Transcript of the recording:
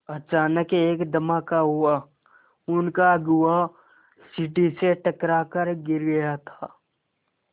अचानक एक धमाका हुआ उनका अगुआ सीढ़ी से टकरा कर गिर गया था